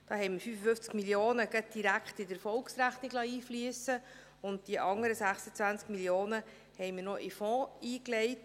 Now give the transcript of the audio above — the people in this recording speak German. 55 Mio. Franken liessen wir gleich direkt in die Erfolgsrechnung einfliessen, und die anderen 26 Mio. Franken legten wir noch in den Fonds ein.